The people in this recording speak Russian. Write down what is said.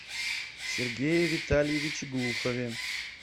сергее витальевиче глухове